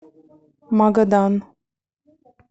магадан